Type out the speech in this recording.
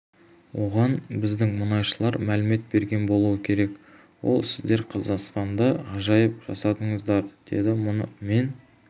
оған біздің мұнайшылар мәлімет берген болуы керек ол сіздер қазақстанда ғажайып жасадыңыздар деді мұны мен